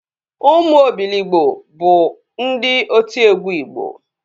Ụmụ Obiligbo bụ ndị otiegwu igbo